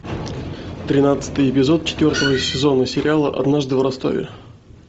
тринадцатый эпизод четвертого сезона сериала однажды в ростове